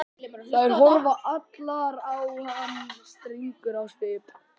Þær horfa allar á hann strangar á svip.